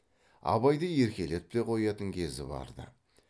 абайды еркелетіп те қоятын кезі бар ды